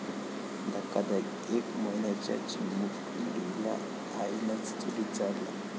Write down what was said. धक्कादायक! एक महिन्याच्या चिमुकलीला आईनंच चुलीत जाळलं